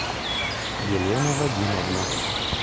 елена вадимовна